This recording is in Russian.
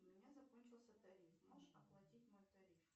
у меня закончился тариф можешь оплатить мой тариф